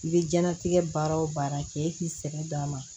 I bɛ diɲɛnatigɛ baara o baara kɛ e k'i sɛgɛn d'a ma